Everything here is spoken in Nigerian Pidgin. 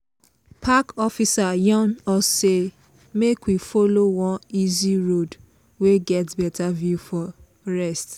park officer yarn us say make we follow one easy road wey get better view for rest.